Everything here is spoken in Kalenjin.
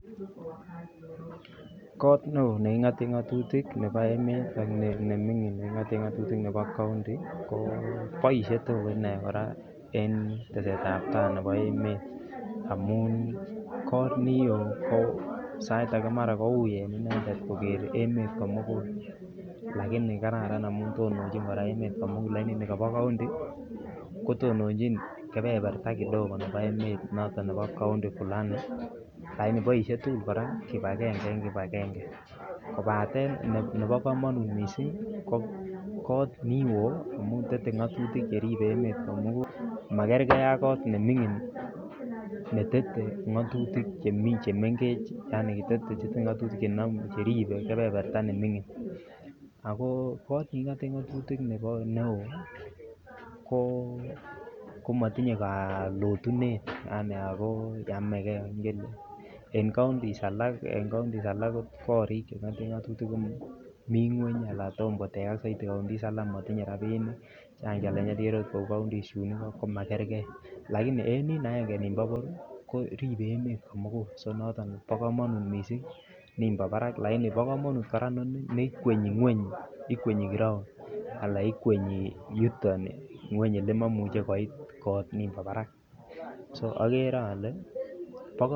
Koot neoo nekingoten ngotutik nebo emet ak nemingin nekingoten ngotutik nebo county ko boishe tukul inee kora en tesetab taai nebo emet amun koot nioo ko sait akee komara kouii en inendet koker emet komukul lakini kararan kora ngo tononchi emet komukul amun nikobo county kotononchin kebeberta kidogo nebo emet noton nebo county fulani lakini kora boishe tukul kibakenge kobatten nebo komonut mising ko koot niwoo amun tetee ngotutik cheribe emet komukul makerke ak koot nemingin netete ngotutik chemengech yaani kotet bichu ngotutik cheribe kebeberta nemingin ak ko koot nekingoten ngotutik nebo koot neo komotinye kalotunet yaani ak ko yameke ngele en counties alak ko korik chekingoten ngotutik komii ngweny alaan kotom kotekak soiti counties alak motinye rabinik yaani ikere okot kouu counties chuun ikoo komakerke lakini en niin aenge nimbo koribe emet komukul konoton bokomonut mising nimbo barak lakini bo komonut kora nii ikwenyi ngweny ikwenyi ground alaan ikwenyi yuton ngweny elemomuche koit koot nimbo barak, so okere olee bokomonut.